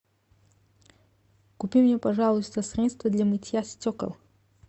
купи мне пожалуйста средство для мытья стекол